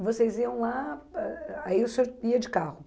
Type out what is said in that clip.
E vocês iam lá, eh eh aí o senhor ia de carro?